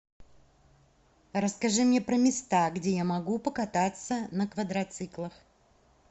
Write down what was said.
расскажи мне про места где я могу покататься на квадроциклах